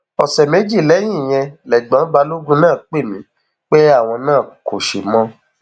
ọsẹ méjì lẹyìn ìyẹn lẹgbọn balógun náà pè mí pé àwọn náà kò ṣe mọ